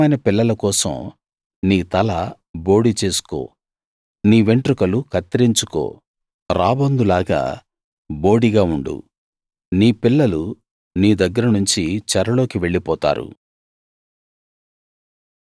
నీకిష్టమైన పిల్లల కోసం నీ తల బోడి చేసుకో నీ వెంట్రుకలు కత్తిరించుకో రాబందులాగా బోడిగా ఉండు నీ పిల్లలు నీ దగ్గర నుంచి చెరలోకి వెళ్ళిపోతారు